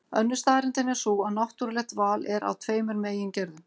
Önnur staðreyndin er sú að náttúrulegt val er af tveimur megin gerðum.